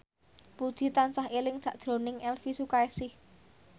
Puji tansah eling sakjroning Elvi Sukaesih